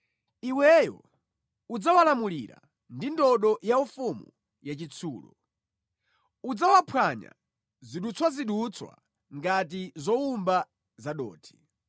Iweyo udzawalamulira ndi ndodo yaufumu yachitsulo; udzawaphwanya zidutswazidutswa ngati zowumba zadothi.”